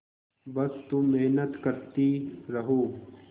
बस तुम मेहनत करती रहो